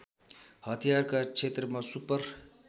हतियारका क्षेत्रमा सुपर